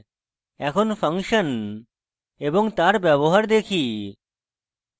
এখন function এবং তার ব্যবহার দেখি